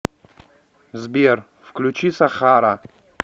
сбер включи сахара